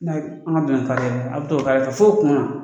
N 'an an ka donna nin kare la a be t'o kare la f'o kun na